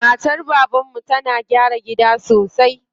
Matar baban mu na gyara gida sosai.